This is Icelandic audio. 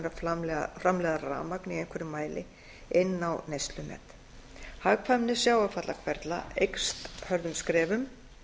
að framleiða rafmagn í einhverjum mæli inn á neyslunet hagkvæmni sjávarfallahverfla eykst hröðum skrefum